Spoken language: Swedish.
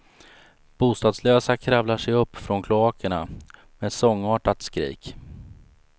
Bostadslösa kravlar sig upp från kloakerna med ett sångartat skrik.